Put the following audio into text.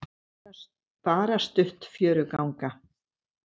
Bara stutt fjöruganga.